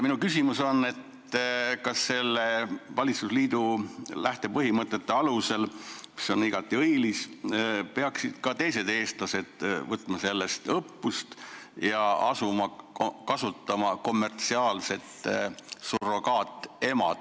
Minu küsimus on, kas selle valitsusliidu lähtepõhimõtte alusel, mis on igati õilis, peaksid ka teised eestlased sellest õppust võtma ja asuma kommertsiaalset surrogaatemadust kasutama.